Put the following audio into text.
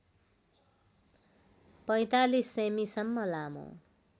४५ सेमिसम्म लामो